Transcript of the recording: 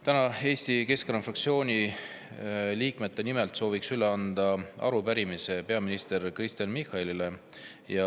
Täna soovin Eesti Keskerakonna fraktsiooni liikmete nimel üle anda arupärimise peaminister Kristen Michalile.